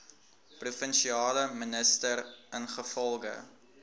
provinsiale minister ingevolge